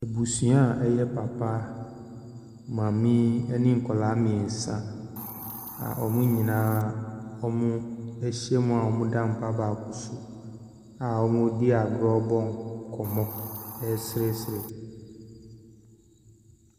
Abusua a ɛyɛ papa, maame ne nkwaraa mmiɛnsa a wɔn nyinaa ahyia a wɔda mpa baako so a wɔredi agoro rebɔ nkɔmmɔ reseresere.